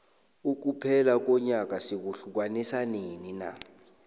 ukuphela konyaka sikuhiukanisa nini na